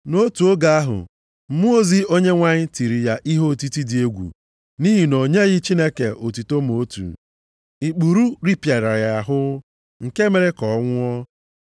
Nʼotu oge ahụ, mmụọ ozi Onyenwe anyị tiri ya ihe otiti dị egwu nʼihi na o nyeghị Chineke otuto ma otu. Ikpuru ripịara ya ahụ, nke mere ka ọ nwụọ.